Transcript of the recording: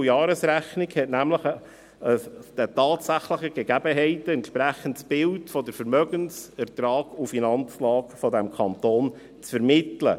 Die Rechnungslegung und Jahresrechnung haben nämlich ein den tatsächlichen Gegebenheiten entsprechendes Bild der Vermögens-, Ertrags- und Finanzlage des Kantons zu vermitteln.